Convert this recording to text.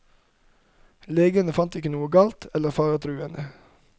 Legene fant ikke noe galt eller faretruende.